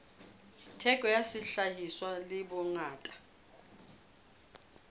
theko ya sehlahiswa le bongata